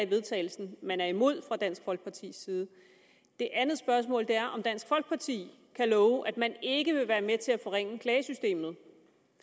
vedtagelse man er imod fra dansk folkepartis side det andet spørgsmål er om dansk folkeparti kan love at man ikke vil være med til at forringe klagesystemet